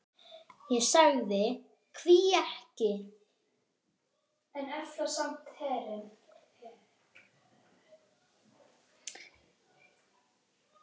Ég sagði: Hví ekki?